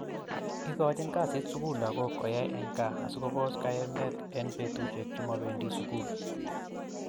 Igochin kasit sugul lagok koyai en kaa asikopos kayemet en petushek chemopendii sugul